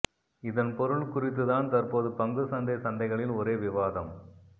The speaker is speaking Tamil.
இதன் பொருள் குறித்துதான் தற்போது பங்குச் சந்தை சந்தைகளில் ஒரே விவாதம்